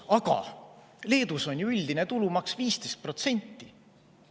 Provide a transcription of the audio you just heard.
Aga Leedus on ju üldine tulumaks 15%.